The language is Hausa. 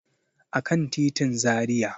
A kan titin Zaria.